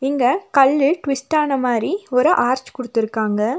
இங்க கல்லு ட்விஸ்ட் ஆன மாரி ஒரு ஆர்ச் குடுத்துருக்காங்க.